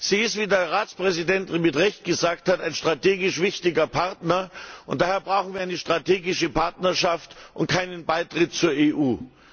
Sie ist, wie der Ratspräsident mit Recht gesagt hat, ein strategisch wichtiger Partner, und daher brauchen wir eine strategische Partnerschaft und keinen Beitritt zur EU.